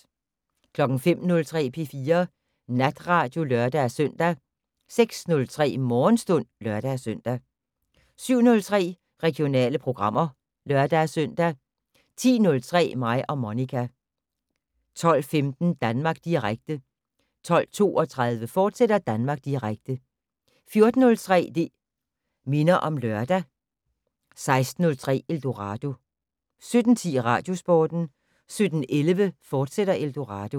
05:03: P4 Natradio (lør-søn) 06:03: Morgenstund (lør-søn) 07:03: Regionale programmer (lør-søn) 10:03: Mig og Monica 12:15: Danmark Direkte 12:32: Danmark Direkte, fortsat 14:03: Det' Minder om Lørdag 16:03: Eldorado 17:10: Radiosporten 17:11: Eldorado, fortsat